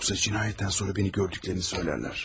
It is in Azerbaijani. Yoxsa cinayətdən sonra məni gördüklərini deyərlər.